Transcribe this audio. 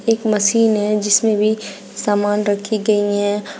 एक मशीन है जिसमें भी सामान रखी गई है।